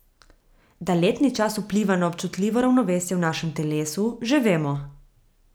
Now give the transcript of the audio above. Da letni čas vpliva na občutljivo ravnovesje v našem telesu, že vemo.